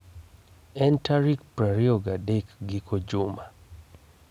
en tarik 23 giko juma